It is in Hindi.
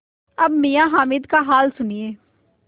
अब मियाँ हामिद का हाल सुनिए